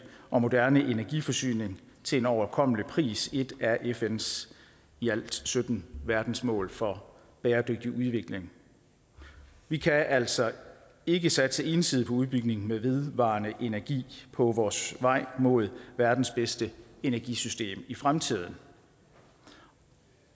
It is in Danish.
og moderne energiforsyning til en overkommelig pris er et af fns i alt sytten verdensmål for bæredygtig udvikling vi kan altså ikke satse ensidigt på udbygning med vedvarende energi på vores vej mod verdens bedste energisystem i fremtiden